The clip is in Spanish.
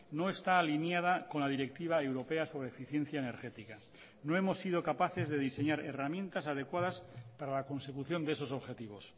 no está alineada con la directiva europea sobre eficiencia energética no hemos sido capaces de diseñar herramientas adecuadas para la consecución de esos objetivos